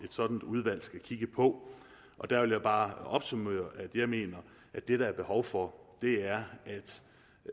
sådant udvalg skal kigge på og der vil jeg bare opsummere at jeg mener at det der er behov for er